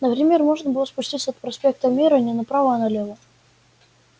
например можно было спуститься от проспекта мира не направо а налево